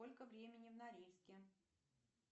сколько времени в норильске